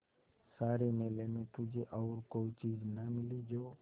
सारे मेले में तुझे और कोई चीज़ न मिली जो